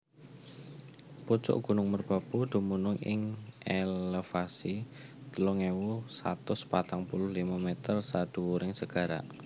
Pucuk gunung Merbabu dumunung ing elevasi telung ewu satus patang puluh limo meter sadhuwuring segara